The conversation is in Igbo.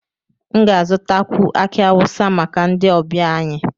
M ga-azụtakwu aki awusa maka ndị ọbịa anyị